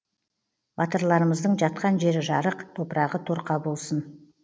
батырларымыздың жатқан жері жарық топырағы торқа болсын